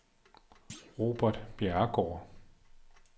Robert Bjerregaard